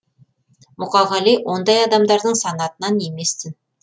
мұқағали ондай адамдардың санатынан еместін